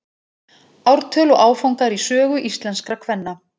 Ártöl og áfangar í sögu íslenskra kvenna.